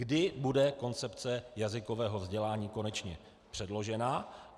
Kdy bude koncepce jazykového vzdělání konečně předložena?